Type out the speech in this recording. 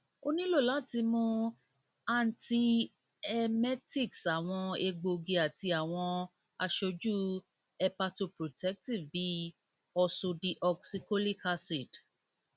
o nilo lati mu antiemetics awọn egboogi ati awọn aṣoju hepatoprotective bi ursodeoxycholic acid